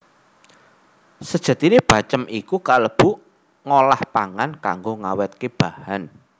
Sejatiné bacem iku kalebu ngolahpangan kanggo ngawètke bahan